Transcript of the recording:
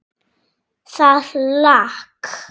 Það lak.